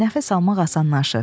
Nəfəs almaq asanlaşır.